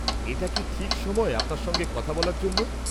-এটা কি ঠিক সময় আপনার সঙ্গে কথা বলার জন্য?